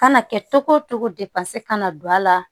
Kana kɛ togo togo kana don a la